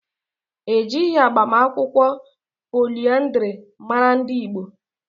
Ejighi agbamakwụkwọ poliandiri mara ndị Igbo.